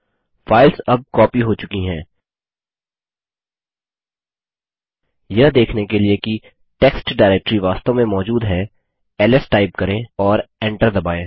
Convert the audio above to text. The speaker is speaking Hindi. फाइल्स अब कॉपी हो चुकी है यह देखने के लिए कि टेक्स्ट डाइरेक्टरी वास्तव में मौजूद हैls टाइप करें और एंटर दबायें